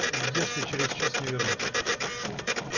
если через час не вернусь